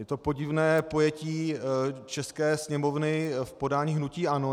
Je to podivné pojetí české Sněmovny v podání hnutí ANO.